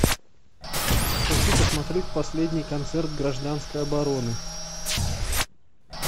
хочу посмотреть последний концерт гражданской обороны